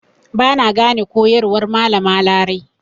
Ba na gane koyarwar Malama Larai.